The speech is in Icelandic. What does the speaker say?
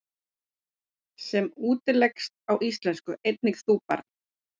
sem útleggst á íslensku einnig þú, barn?